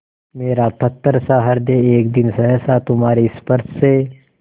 मेरा पत्थरसा हृदय एक दिन सहसा तुम्हारे स्पर्श से